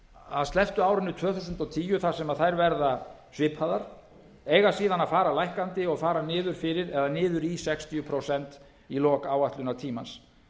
að slepptu árinu tvö þúsund og tíu þar sem þær verða svipaðar eiga síðan að fara lækkandi og fara niður fyrir eða niður í sextíu prósent í lok áætlunartímans